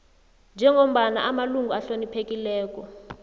njengombana amalunga ahloniphekileko